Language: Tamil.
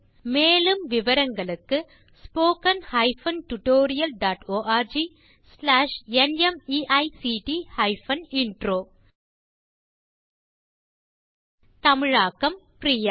மேலும் விவரங்களுக்கு spoken hyphen tutorial dot org slash NMEICT hyphen intro தமிழாக்கம் பிரியா